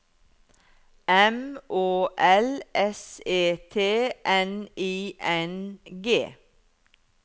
M Å L S E T N I N G